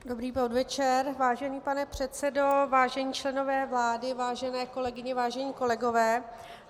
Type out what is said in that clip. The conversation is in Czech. Dobrý podvečer, vážený pane předsedo, vážení členové vlády, vážené kolegyně, vážení kolegové.